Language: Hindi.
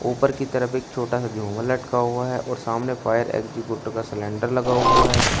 ऊपर की तरफ एक छोटा सा झूमर लटका हुआ है और सामने फायर एग्जिबुटर का सिलेंडर लगा हुआ है।